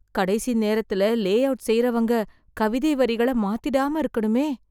கடைசி நேரத்துல, layout செய்றவங்க, கவிதை வரிகளை மாத்திடாம இருக்கணுமே.